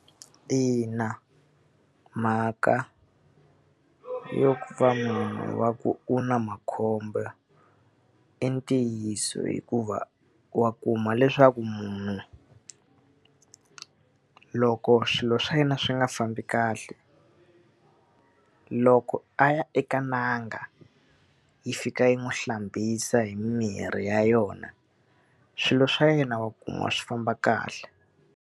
Ina mhaka yo ku va munhu wa ku u na makhombo i ntiyiso hikuva wa kuma leswaku munhu, loko swilo swa yena swi nga fambi kahle, loko a ya eka n'anga yi fika yi n'wi hlambisa hi mimirhi ya yona swilo swa yena wa kumiwa swi famba kahle.